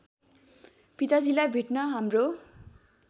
पिताजीलाई भेट्न हाम्रो